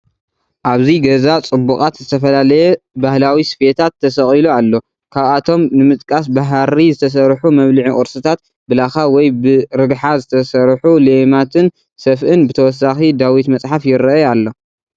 ኣብዚ ገዛ ፅቡቓት ዝተፈላለየ ባህላዊ ስፌታት ተሰቒሉ ኣሎ ካብኣቶም ንምጥቓስ ብሓሪ ዝተሰርሑ መብልዒ ቑርስታት ፣ ብላኻ ወይ ብ ርግሓ ዝተሰርሑ ለይማትን ሰፍእን ፡ ብተወሳኺ ዳዊት መፅሓፍ ይረኣይ ኣሎ ።